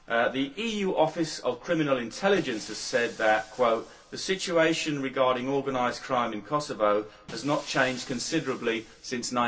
The EU office of criminal intelligence has said that the situation regarding organised crime in Kosovo has not changed considerably since